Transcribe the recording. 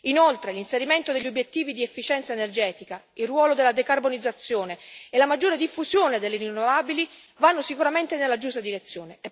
Inoltre l'inserimento degli obiettivi di efficienza energetica, il ruolo della decarbonizzazione e la maggiore diffusione delle rinnovabili vanno sicuramente nella giusta direzione.